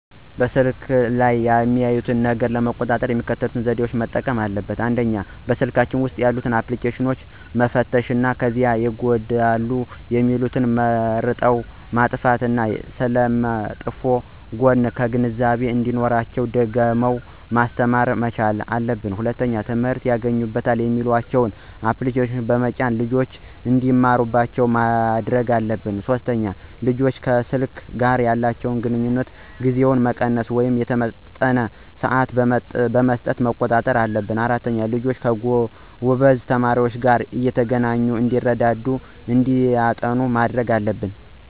በስልኩ ላይ የሚያዩትን ነገር ለመቆጣጠር የሚከተሉትን ዘዴዎች መጠቀምና አለብን፦ ፩) በስልካቸው ውስጥ ያሉትን አፕልኬሽኖች መፈተሽ ከዚያ ይጎዳሉ የሚሉትን መርጠው ማጥፋት እና ስለመጥፎ ጎኑ ግንዛቤው እንዲኖራቸው ደጋግሞ ማስተማር መቻል አለብን። ፪) ትምህርት ያገኙበታል የሚሏቸውን አፕልኬሽኖች በመጫን ልጆች እንዲማሩባቸው ማድረግ አለብን። ፫) ልጆች ከሰልኩ ጋር ያላቸውን ግንኙነት ጊዜውን መቀነስ ወይም የተመጠነ ስዓት በመስጠት መቆጣጠር አለብን። ፬) ልጆች ከጎበዝ ተማሪዎች ጋር እየተገናኙ እንዲረዳዱ እና እንዲያጠኑ ማድረግ አለብን